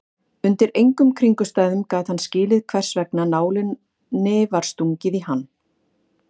Undir engum kringumstæðum gat hann skilið hversvegna nálinni var stungið í hann.